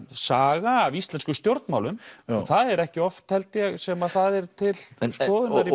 saga af íslenskum stjórnmálum það er ekki oft held ég sem það er til skoðunar í